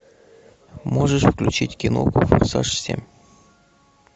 можешь включить кино форсаж семь